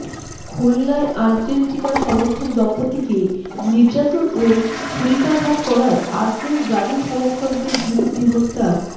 খুলনায় আর্জেন্টিনা সমর্থক দম্পত্তিকে নির্যাতন ও ছুড়িকাঘাত করায় আট জন ব্রাজিল সমর্থকের বিরুদ্ধে হত্যার